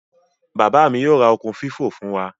Baba mi yoo ra okun fifo fun wa.